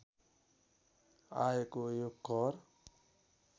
आएको यो कर